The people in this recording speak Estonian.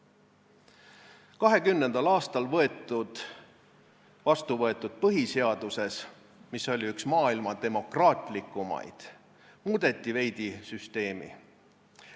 1920. aastal vastu võetud põhiseaduses, mis oli üks maailma demokraatlikumaid, muudeti veidi süsteemi.